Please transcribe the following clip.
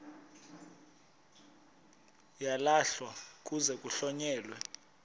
uyalahlwa kuze kuhlonyelwe